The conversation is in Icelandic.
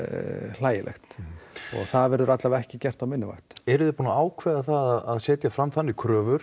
hlægilegt og það verður allavega ekki gert á minni vakt eruð þið búin að ákveða það að setja fram þannig kröfur